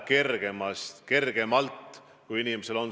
Nüüd, viimase ööpäeva jooksul on tehtud minu teada 768 testi.